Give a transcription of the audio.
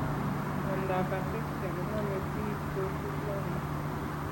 Miondap ataxia koname piich kosupi lainda